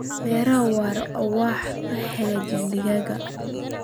Beeraha waara waxay hagaajiyaan deegaanka.